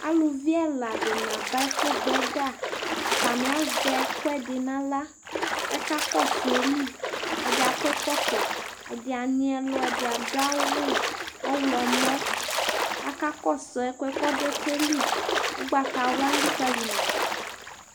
aluvi ɛla di ni aba ɛfu gbɔ ɛga atani azɛ ɛkoɛdi n'ala k'aka kɔsu ayili ɛdi akɔ ɛkɔtɔ ɛdi anyi ɛlu ɛdi ado awu ɔwlɔmɔ aka kɔsu ɛkoɛ k'ɔdo ɛkoɛ li ugbata wla elikali ma do